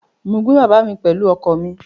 Mo gbé bàbá mi pẹ̀lú ọkọ̀ mi